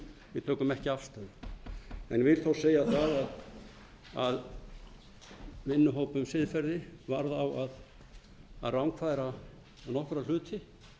við tökum ekki afstöðu en vil þó segja það að vinnuhóp um siðferði var á að rangfæra nokkra hluti